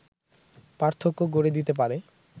পার্থক্য গড়ে দিতে পারে